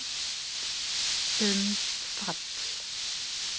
Um fall